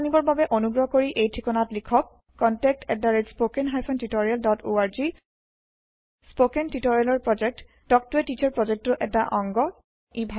অধিক জানিবৰ বাবে অনুগ্ৰহ কৰি এই ঠিকনাত লিখক contactspoken tutorialorg স্পৌকেন টিওটৰিয়েলৰ প্ৰকল্প তাল্ক ত a টিচাৰ প্ৰকল্পৰ এটা অংগ